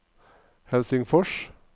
Helsingfors